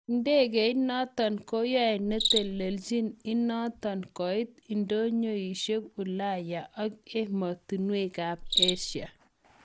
Idegeit noton koyoe netelelchin inoton koit idonyoishek Ulaya ak emotunwek kap Asia.